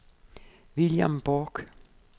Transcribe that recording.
William Bork